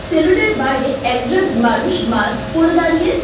Salon -এর বাইরে একজন মানুষ মাস্ক পরে দাঁড়িয়ে।